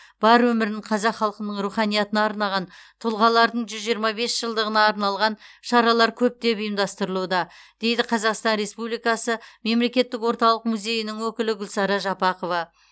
бар өмірін қазақ халқының руханиятына арнаған тұлғалардың жүз жиырма бес жылдығына арналған шаралар көптеп ұйымдастырылуда дейді қазақстан республикасы мемлекеттік орталық музейінің өкілі гүлсара жапақова